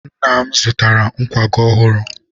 nna m zụtara nkwago ọhụrụ.